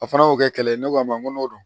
A fana y'o kɛ kɛlɛ ye ne ko a ma n ko n'o don